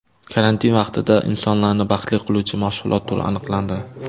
Karantin vaqtida insonlarni baxtli qiluvchi mashg‘ulot turi aniqlandi.